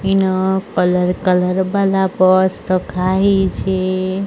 ଇନ colour colour purse ରଖାହେଇଚି।